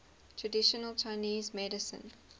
traditional chinese medicine